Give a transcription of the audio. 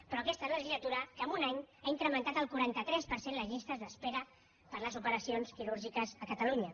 però aquesta legislatura en un any ha incrementat el cuarenta tres per cent les llistes d’espera per a les operacions quirúrgiques a catalunya